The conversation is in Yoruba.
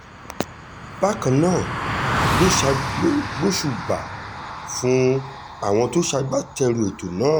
bákan náà ló ṣa lo gbóṣùbà fún àwọn tó ṣagbátẹrù ètò náà